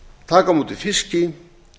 taka á móti fiski